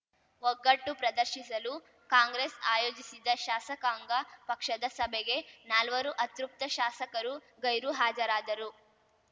ಒಗ್ಗಟ್ಟು ಪ್ರದರ್ಶಿಸಲು ಕಾಂಗ್ರೆಸ್‌ ಆಯೋಜಿಸಿದ್ದ ಶಾಸಕಾಂಗ ಪಕ್ಷದ ಸಭೆಗೆ ನಾಲ್ವರು ಅತೃಪ್ತ ಶಾಸಕರು ಗೈರು ಹಾಜರಾದರು